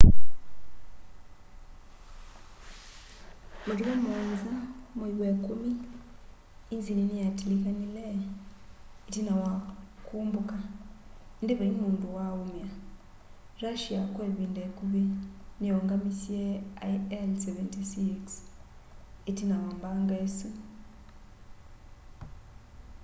matukũ 7 mwai wa ĩkumi inzini niyatilikanie itina wa kũmbũka indi vaiĩ mũndũ wa'ũmĩa russia kwa ivinda ikuvi niyaungamisye ii-76s itina wa mbanga isu